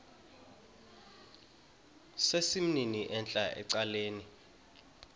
sesimnini entla ecaleni